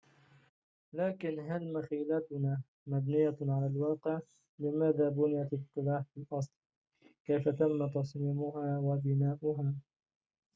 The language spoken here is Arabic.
لكن هل مخيلتنا مبنية على الواقع لماذا بُنِيَت القلاع في الأصل كيف تم تصميمها وبناؤها